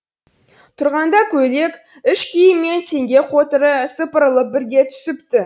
тұрғанда көйлек іш киімі мен теңге қотыры сыпырылып бірге түсіпті